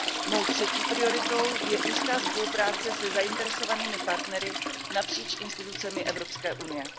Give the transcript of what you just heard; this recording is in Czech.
Mou třetí prioritou je úzká spolupráce se zainteresovanými partnery napříč institucemi Evropské unie.